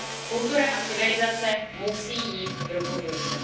Kultura a civilizace musí jít ruku v ruce.